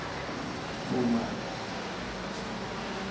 khunwana